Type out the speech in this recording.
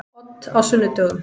Odd á sunnudögum.